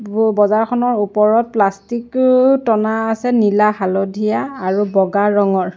আৰু বজাৰখনৰ ওপৰত প্লাষ্টিক টনা আছে নীলা হালধীয়া আৰু বগা ৰঙৰ।